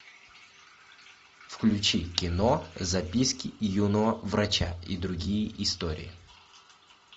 включи кино записки юного врача и другие истории